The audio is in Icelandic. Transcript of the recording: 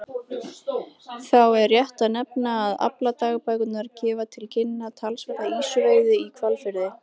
Þá er rétt að nefna að afladagbækurnar gefa til kynna talsverða ýsuveiði í Hvalfirði.